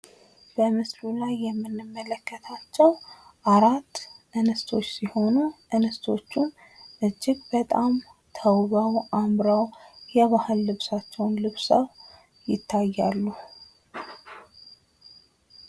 በምስሉ ላይ የምንመለከታቸው አራት እንስቶች ሲሆኑ ፤ እንስቶቹም እጅግ በጣም ተውበው፣ አምረው፣ የባህል ልንሳቸዉን ለብሰው ይታያሉ።